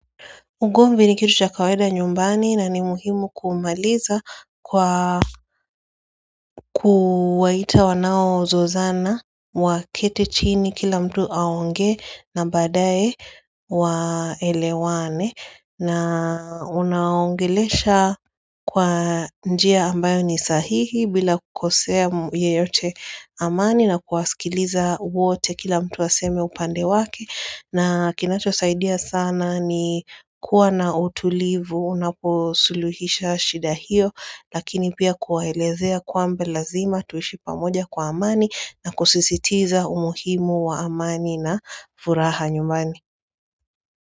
Ugomvi ni kitu cha kawaida nyumbani na ni muhimu kumaliza kwa kuwaita wanao zozana wa keti chini kila mtu aonge na baadae waelewane na unaongelesha kwa njia ambayo ni sahihi bila kukosea yeyote amani na kuwasikiliza wote kila mtu aseme upande wake na kinacho saidia sana ni kuwa na utulivu unaposuluhisha shida hiyo lakini pia kuwaelezea kwamba lazima tuishi pamoja kwa amani na kusisitiza umuhimu wa amani na furaha nyumbani.